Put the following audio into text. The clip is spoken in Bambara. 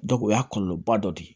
o y'a kɔlɔlɔba dɔ de ye